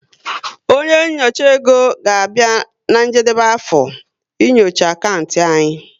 Onye nchọcha égo ga-abịa na njedebe afọ, ị nyocha akantị anyi